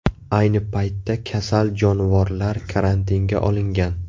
Ayni paytda kasal jonivorlar karantinga olingan.